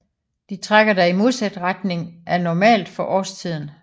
De trækker da i modsat retning af normalt for årstiden